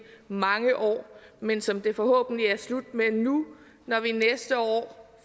mange år men som det forhåbentlig er slut med nu når vi næste år